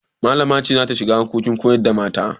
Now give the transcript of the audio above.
Malama ce za ta shiga harkokin koyar da mata.